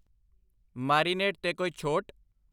Marinade 'ਤੇ ਕੋਈ ਛੋਟ?